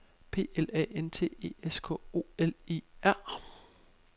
P L A N T E S K O L E R